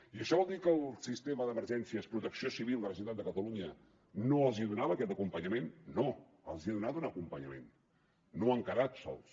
i això vol dir que el sistema d’emergències protecció civil de la generalitat de catalunya no els donava aquest acompanyament no els ha donat un acompanyament no han quedat sols